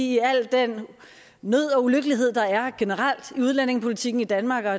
i al den nød og ulykkelighed der er generelt i udlændingepolitikken i danmark og